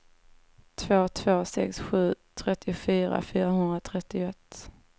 två två sex sju trettiofyra fyrahundratrettioett